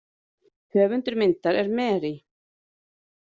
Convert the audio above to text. Höfundur myndar er Mary.